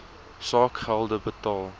saak gelde betaal